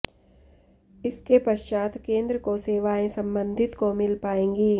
इसके पश्चात केन्द्र को सेवाएं संबंधित को मिल पाएगी